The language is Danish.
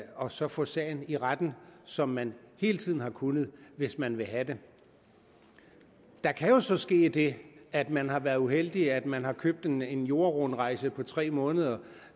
og så få sagen i retten som man hele tiden har kunnet hvis man vil have det der kan jo så ske det at man har været uheldig at man har købt en en jordrundrejse på tre måneder